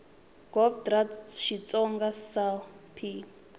gov dra xitsonga sal p